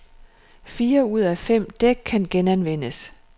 Fire ud af fem dæk kan genanvendes.